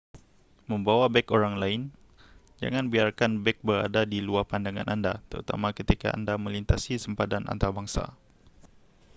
membawa beg orang lain jangan biarkan beg berada di luar pandangan anda terutama ketika anda melintasi sempadan antarabangsa